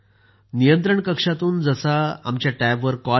नियंत्रण कक्षातून जसा आमच्या टॅब वर कॉल येतो